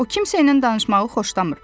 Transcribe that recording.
O kimsəylə danışmağı xoşlamır.